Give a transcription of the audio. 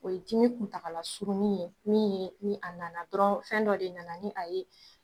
O ye dimi kuntagala surunni ye, min ye ni a nana dɔrɔn fɛn dɔ de nana ni a ye